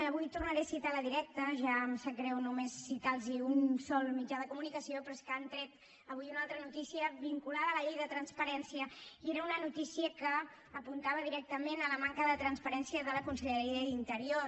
avui tornaré a citar la directa ja em sap greu només citar los un sol mitjà de comunicació però és que han tret avui una altra notícia vinculada a la llei de transparència i era una notícia que apuntava directament a la manca de transparència de la conselleria d’interior